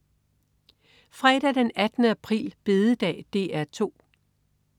Fredag den 18. april. Bededag - DR 2: